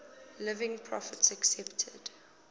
living prophets accepted